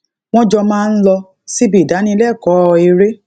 wón jọ máa ń lọ síbi ìdánilékòó eré